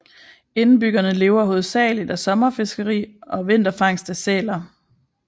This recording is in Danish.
Indbyggerne lever hovedagelig af sommerfiskeri og vinterfangst af sæler